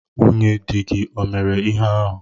Nwunye dị gi ọ mere ihe ahụ?